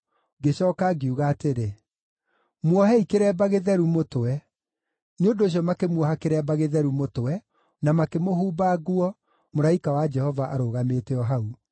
Ngĩcooka ngiuga atĩrĩ, “Muohei kĩremba gĩtheru mũtwe.” Nĩ ũndũ ũcio makĩmuoha kĩremba gĩtheru mũtwe, na makĩmũhumba nguo, mũraika wa Jehova arũgamĩte o hau.